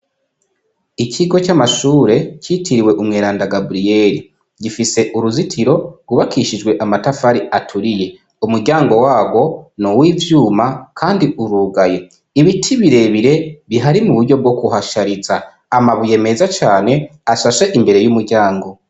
Ikigo c'amashure citiriwe umweranda gabriyeli gifise uruzitiro ubakishijwe amatafari aturiye umuryango wawo ni uwo'ivyuma, kandi urugaye ibiti birebire bihari mu buryo bwo guhasharisa amabuye meza cane ashashe imbere y'umuryango.